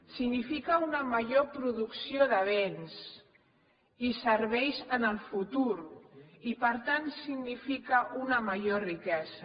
significa una major producció de béns i serveis en el futur i per tant significa una major riquesa